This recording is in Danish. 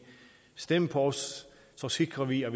stem på os så sikrer vi at